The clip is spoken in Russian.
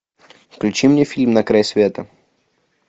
включи мне фильм на край света